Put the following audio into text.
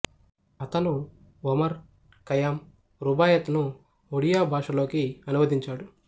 అతను Omar Khayyam Rubaiyat ను ఒడియా భాషలోకి అనువదించాడు